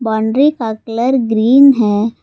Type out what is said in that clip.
Boundary का colour green है।